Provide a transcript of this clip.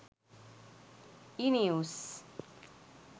e news